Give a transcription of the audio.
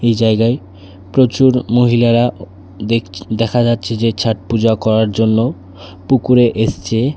এ জায়গায় প্রচুর মহিলারা দেখ দেখা যাচ্ছে যে ছট পুজো করার জন্য পুকুরে এসছে।